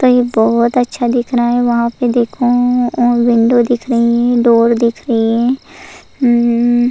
कहीं बहुत अच्छा दिख रहा है वहां पे देखो और विंडो दिख रही है डोर दिख रही है अ --